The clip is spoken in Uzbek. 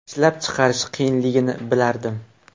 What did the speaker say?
Ishlab chiqarish qiyinligini bilardim.